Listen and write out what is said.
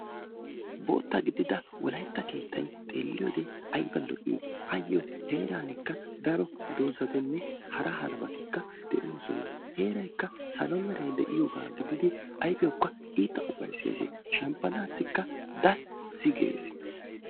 Bootta gidida wolaytta keettay xeeliyode ayba lo'i. Ayo heeranikka dozatinne hara harabatikka deosona. Heeraykka salo meeray deiyoba gididi ayfiyawuka itta ufayses. Shemppanasika dassi gees.